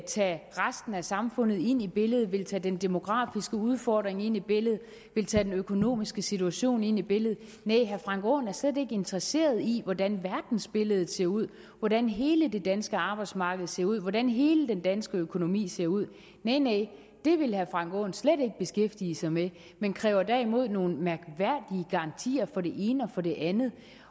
tage resten af samfundet med ind i billedet vil tage den demografiske udfordring med ind i billedet vil tage den økonomiske situation med ind i billedet næh herre frank aaen er slet ikke interesseret i hvordan verdensbilledet ser ud hvordan hele det danske arbejdsmarked ser ud hvordan hele den danske økonomi ser ud næh næh det vil herre frank aaen slet ikke beskæftige sig med men kræver derimod nogle mærkværdige garantier for det ene og for det andet